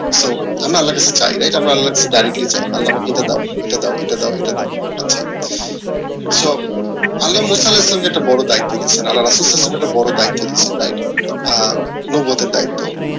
so আমরা আল্লাহর কাছে চাই আল্লা আমাকে এটা দাও এটা দাও এটা দাও so আল্লাহ একটা বড়ো দায়িত্ব দিয়েছেন আল্লা সালাউল ইসলামকে একটা বড়ো দায়িত্ব দিয়েসেন আহ দায়িত্ব